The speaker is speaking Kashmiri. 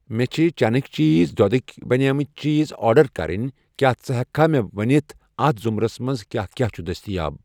مےٚ چھ چٮ۪نٕکۍ چیٖز، دۄدٕکؠ بنیمٕتۍ چیٖز آرڈر کرٕنۍ، کیٛاہ ژٕ ہٮ۪ککھٕ مےٚ ونِتھ اَتھ زمرس منٛز کیٛاہ کیٛاہ چھ دٔستیاب